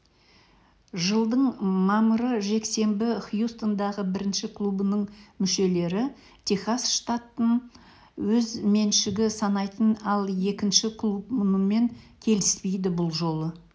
жылдың мамыры жексенбі хьюстондағы бірінші клубының мүшелері техас штатын өз меншігі санайтын ал екінші клуб мұнымен келіспейді бұл жолы